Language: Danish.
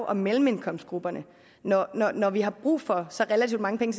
og mellemindkomstgrupperne når når vi har brug for så relativt mange penge